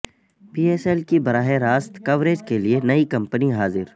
پی S L کی براہ راست کوریج کیلئے نئی کمپنی حاضر